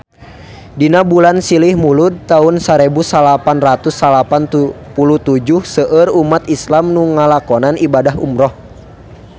Dina bulan Silih Mulud taun sarebu salapan ratus salapan puluh tujuh seueur umat islam nu ngalakonan ibadah umrah